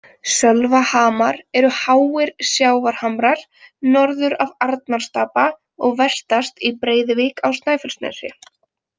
Sölvahamar eru háir sjávarhamrar norður af Arnarstapa og vestast í Breiðuvík á Snæfellsnesi.